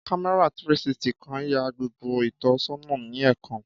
Kámẹ́rà 360 kan ya gbogbo ìtọ́sọ́nà ni ẹẹkan